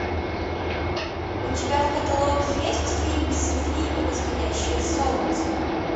у тебя в каталоге есть фильм софи и восходящее солнце